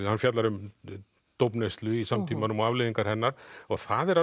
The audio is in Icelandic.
hann fjallar um í samtímanum og afleiðingar hennar það er